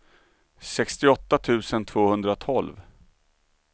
sextioåtta tusen tvåhundratolv